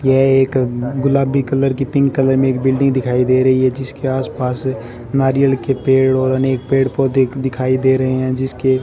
यह एक गुलाबी कलर की पिंक कलर में एक बिल्डिंग दिखाई दे रही है जीसके आस पास नारियल के पेड़ और अनेक पेड़ पौधे दिखाई दे रहे हैं जिसके --